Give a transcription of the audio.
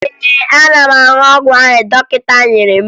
Ee, ana m aṅụ ọgwụ ahụ dọkịta nyere m